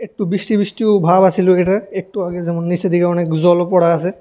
একটু বিষ্টি বিষ্টিও ভাব আসিল এহানে একটু আগে যেমন নিচের দিকে অনেক জলও পড়া আছে।